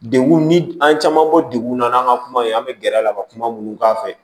Degun ni an caman bɔ degun na n'an ka kumaw ye an bɛ gɛrɛ a la ka kuma minnu k'a fɛ